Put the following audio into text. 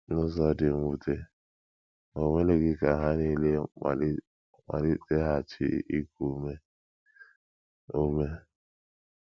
N’ụzọ dị mwute, o melighị ka ha nile maliteghachi iku ume ume.